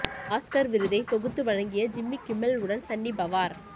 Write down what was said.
Oscar விருதை தொகுத்து வழங்கிய ஜிம்மி கிமெல் உடன் சன்னி பவார்